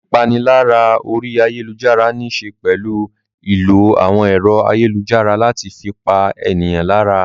Ìpalára orí ayálujára níṣe pẹ̀lú ìlò àwọn ẹ̀rọ ayélujára láti fi pa ènìyàn lára.